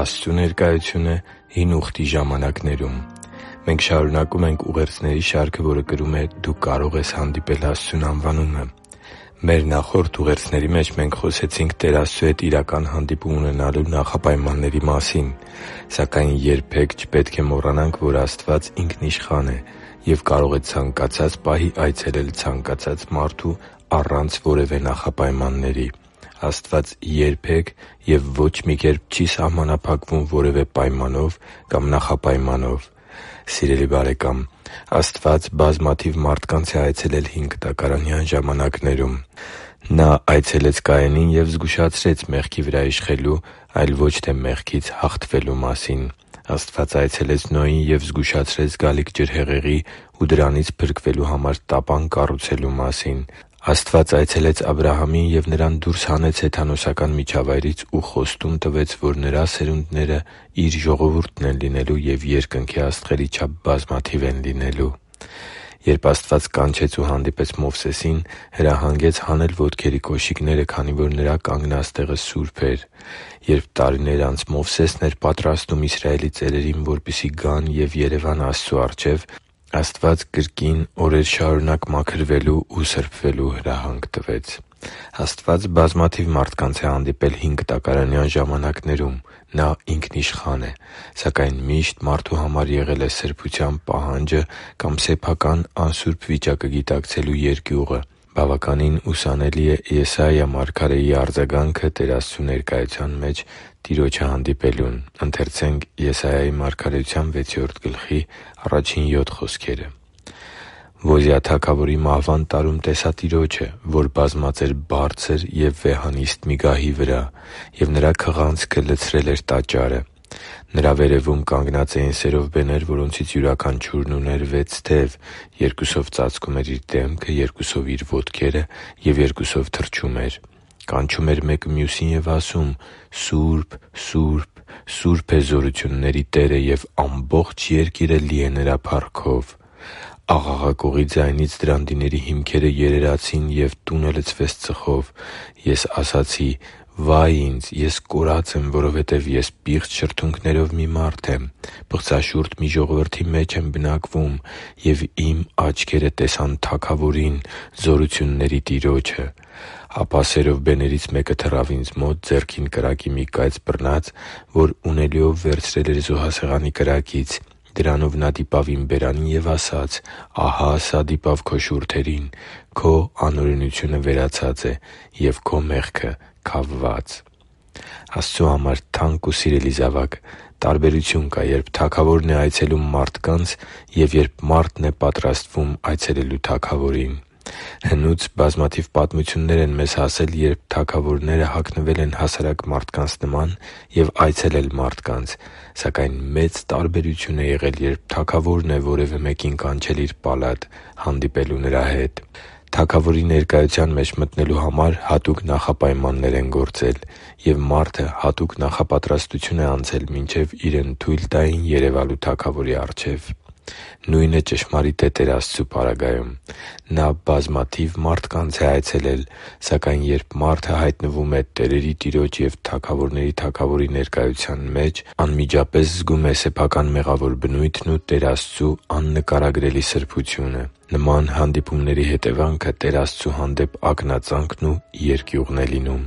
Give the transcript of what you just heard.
Աստծու ներկայությունը Հին Ուխտի ժամանակներում Մենք շարունակում ենք ուղերձների շարքը, որը կրում է «Դու կարո՛ղ ես հանդիպել Աստծուն» անվանումը։ Մեր նախորդ ուղերձների մեջ մենք խոսեցինք Տեր Աստծու հետ իրական հանդիպում ունենալու նախապայմանների մասին։ Սակայն երբե՛ք չպետք է մոռանանք, որ Աստված ինքնիշխան է և կարող է ցանկացած պահի այցելել ցանկացած մարդու առանց որևէ նախապայմանների։ Աստված երբե՛ք և ո՛չ մի կերպ չի սահմանափակվում որևէ պայմանով կամ նախապայմանով։ Սիրելի՛ բարեկամ, Աստված բազմաթիվ մարդկանց է այցելել հինկտակարանյան ժամանակներում։ Նա այցելեց Կայենին և զգուշացրեց մեղքի վրա իշխելու, այլ ոչ թե մեղքից հաղթվելու մասին։ Աստված այցելեց Նոյին և զգուշացրեց գալիք ջրհեղեղի ու դրանից փրկվելու համար տապան կառուցելու մասին։ Աստված այցելեց Աբրահամին և նրան դուրս հանեց հեթանոսական միջավայրից ու խոստում տվեց, որ նրա սերունդները Իր ժողովուրդն են լինելու և երկնքի աստղերի չափ բազմաթիվ են լինելու։ Երբ Աստված կանչեց ու հանդիպեց Մովսեսին, հրահանգեց հանել ոտքերի կոշիկները, քանի որ նրա կանգնած տեղը սուրբ էր։ Երբ տարիներ անց Մովսեսն էր պատրաստում Իսրայելի ծերերին, որպեսզի գան ու երևան Աստծու առջև, Աստված կրկին օրեր շարունակ մաքրվելու ու սրբության հրահանգ տվեց։ Աստված բազմաթիվ մարդկանց է հանդիպել հինկտակարանյան ժամանակներում, Նա ինքնիշխան է։ Սակայն միշտ մարդու համար եղել է սրբության պահանջը կամ սեփական անսուրբ վիճակը գիտակցելու երկյուղը։ Բավականին ուսանելի է Եսայիա մարգարեի արձագանքը Տեր Աստծու ներկայության մեջ Տիրոջը հանդիպելուն։ «Ոզիա թագավորի մահվան տարում տեսա Տիրոջը, որ բազմած էր բարձր և վեհանիստ մի գահի վրա, և Նրա քղանցքը լցրել էր տաճարը։ Նրա վերևում կանգնած էին սերովբեներ, որոնցից յուրաքանչյուրն ուներ վեց թև. երկուսով ծածկում էր իր դեմքը, երկուսով՝ իր ոտքերը և երկուսով թռչում էր։ Կանչում էր մեկը մյուսին և ասում. «Սուրբ, Սուրբ, Սուրբ է Զորությունների Տերը, և ամբողջ երկիրը լի է Նրա փառքով»։ Աղաղակողի ձայնից դրանդիների հիմքերը երերացին, և տունը լցվեց ծխով։ Ես ասացի. «Վա՜յ ինձ, ես կորած եմ, որովհետև ես պիղծ շուրթերով մի մարդ եմ, պղծաշուրթ մի ժողովրդի մեջ եմ բնակվում, և իմ աչքերը տեսան Թագավորին՝ Զորությունների Տիրոջը»։ Ապա սերովբեներից մեկը թռավ ինձ մոտ՝ ձեռքին կրակի մի կայծ բռնած, որ ունելիով վերցրել էր զոհասեղանի վրայից։ Դրանով նա դիպավ իմ բերանին և ասաց. «Ահա սա դիպավ քո շուրթերին. քո անօրենությունը վերացած է, և քո մեղքը՝ քավված» (Եսայիա 6․1-7): Աստծու համար թանկ ու սիրելի՛ զավակ, տարբերություն կա, երբ թագավորն է այցելում մարդկանց, և երբ մարդն է պատրաստվում այցելել թագավորին։ Հնուց բազմաթիվ պատմություններ են մեզ հասել, երբ թագավորները հագնվել են հասարակ մարդկանց նման և այցելել մարդկանց։ Սակայն մեծ տարբերություն է եղել, երբ թագավորն է որևէ մարդու կանչել իր պալատ՝ հանդիպելու նրա հետ։ Թագավորի ներկայության մեջ մտնելու համար հատուկ նախապայմաններ են գործել, և մարդը հատուկ նախապատրաստություն է անցել, մինչև իրեն թույլ տային երևալու թագավորի առջև։ Նույնը ճշմարիտ է Տեր Աստծու պարագայում։ Նա բազմաթիվ մարդկանց է այցելել։ Սակայն երբ մարդը հայտնվում է տերերի Տիրոջ և թագավորների Թագավորի ներկայության մեջ, անմիջապես զգում է սեփական մեղավոր բնույթն ու Տեր Աստծու աննկարագրելի սրբությունը։ Նման հանդիպումների հետևանքը Տեր Աստծու հանդեպ ակնածանքն ու երկյուղն է լինում,